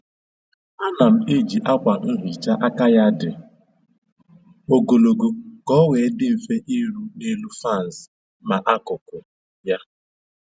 A na m eji akwa nhicha aka ya dị ogologo ka o wee dị mfe iru n'elu faans ma n'akụkụ ya